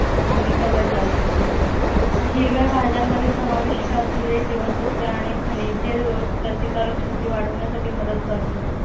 भूमिका बजावते. हिरव्या भाज्यांमध्ये समाविष्ट असलेली जीवनसत्वे आणि खनिजे रोगप्रतिकारक शक्ती वाढविण्यासाठी मदत करतात.